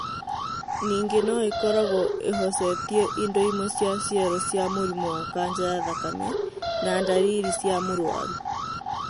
Nĩngĩ no ĩkoragwo ĩhocetie indo imwe cia cero cia mũrimũ wa kanja ya thakame na ndariri cia mũrwaru.